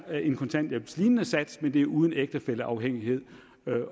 en kontanthjælpslignende sats men det er uden ægtefælleafhængighed